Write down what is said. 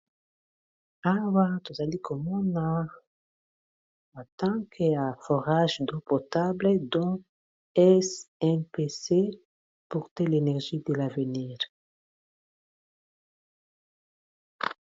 Awa tozalikomona temple ya forages do potable donc es impasé porte l'energie de l'avenir.